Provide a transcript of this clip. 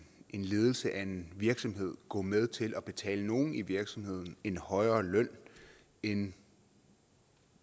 ledelse af en virksomhed gå med til at betale nogen i virksomheden en højere løn end